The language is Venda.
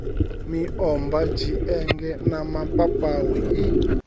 miomva tshienge na mapapawe i